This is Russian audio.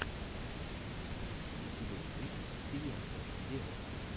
у тебя есть силенто вево